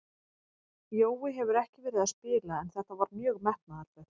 Jói hefur ekki verið að spila en þetta var mjög metnaðarfullt.